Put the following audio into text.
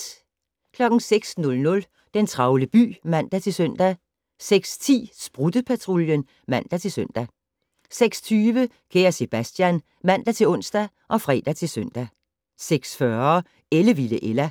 06:00: Den travle by (man-søn) 06:10: Sprutte-Patruljen (man-søn) 06:20: Kære Sebastian (man-ons og fre-søn) 06:40: Ellevilde Ella